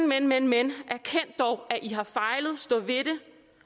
men men men erkend dog at i har fejlet stå ved det